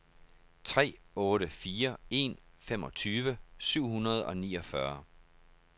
tre otte fire en femogtyve syv hundrede og niogfyrre